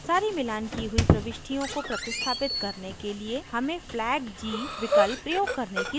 सारी मिलान की हुई प्रविष्टियों को प्रतिस्थापित करने के लिए हमें flag g विकल्प प्रयोग करने की ज़रुरत है